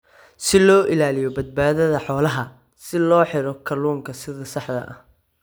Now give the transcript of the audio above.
si loo ilaaliyo Badbaadada Xoolaha, si loogu xidho kalluunka sida saxda ah.